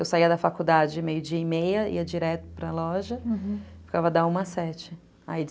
Eu saía da faculdade meio dia e meia, ia direto para loja, aham, ficava da uma às sete, aí